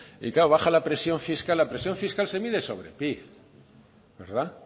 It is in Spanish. y claro baja la presión fiscal la presión fiscal se mide sobre el pib